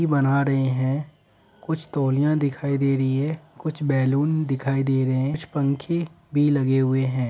की बना रहे हैं कुछ तौलिया दिखाई दे रही है कुछ बैलून दिखाई दे रहे है कुछ पंखे भी लगे हुए हैं ।